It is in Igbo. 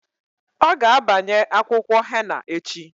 Ọ ga abanye akwụkwọ henna echi.